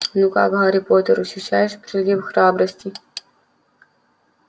ну как гарри поттер ощущаешь прилив храбрости